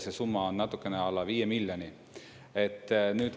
See summa on natukene alla viie miljoni.